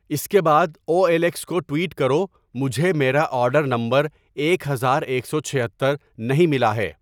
اس کے بعد O L X کو ٹویٹ کرو مجھے میرا آرڈر نمبر ایک ہزار ایک سو چھہتر نہیں ملا ہے